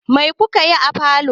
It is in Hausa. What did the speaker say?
Mai ku ka yi a falo?